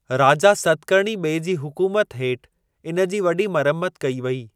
राजा सतकर्णी ॿिएं जी हुकुमत हेठि इन जी वॾी मरम्मत कई वेई।